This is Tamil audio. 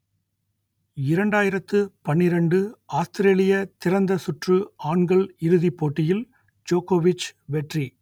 இரண்டாயிரத்து பன்னிரண்டு ஆஸ்திரேலிய திறந்த சுற்று ஆண்கள் இறுதிப் போட்டியில் ஜோக்கொவிச் வெற்றி